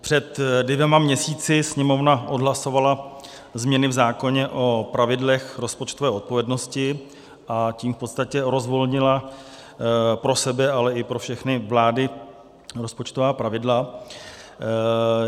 Před dvěma měsíci Sněmovna odhlasovala změny v zákoně o pravidlech rozpočtové odpovědnosti, a tím v podstatě rozvolnila pro sebe, ale i pro všechny vlády rozpočtová pravidla.